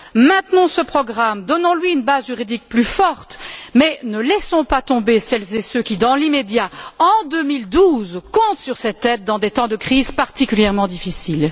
Maintenons ce programme, donnons lui une base juridique plus forte, mais ne laissons pas tomber celles et ceux qui, dans l'immédiat, en 2012, comptent sur cette aide, dans des temps de crise particulièrement difficiles.